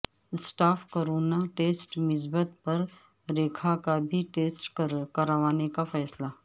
staff کا corona test مثبت پر ریکھا کا بھی ٹیسٹ کروانے کا فیصلہ